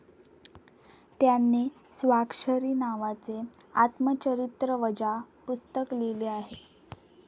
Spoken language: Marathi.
त्यांनी स्वाक्षरी नावाचे आत्मचरित्रवजा पुस्तक लिहिले आहे.